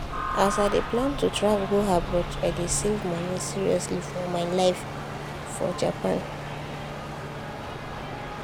as i dey plan travel go abroad i dey save money seriously for my life for japan.